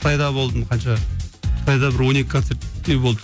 қытайда болдым қанша қытайда бір он екі концерттей болды